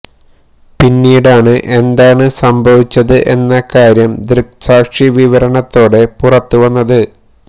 പിന്നെീടാണ് എന്താണ് സംഭവിച്ചത് എന്ന കാര്യം ദൃക്സാക്ഷി വിവരണത്തോടെ പുറത്തു വന്നത്